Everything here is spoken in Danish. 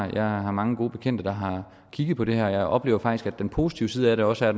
jeg har mange gode bekendte der har kigget på det her og jeg oplever faktisk at den positive side af det også er